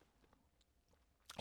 DR1